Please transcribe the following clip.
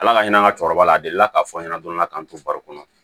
Ala ka ɲina an ka cɛkɔrɔba la a delila k'a fɔ aw ɲɛna dɔrɔn ala k'an to baro kɔnɔ